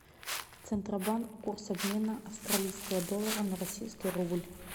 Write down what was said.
центробанк курс обмена австралийского доллара на российский рубль